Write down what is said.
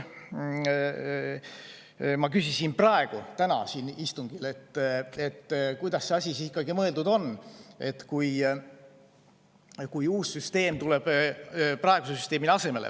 Ma küsisin täna siin istungil, kuidas see asi ikkagi mõeldud on, kui uus süsteem tuleb praeguse süsteemi asemele.